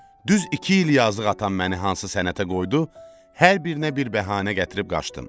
Düz iki il yazıq atam məni hansı sənətə qoydu, hər birinə bir bəhanə gətirib qaçdım.